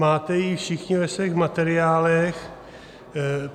Máte ji všichni ve svých materiálech.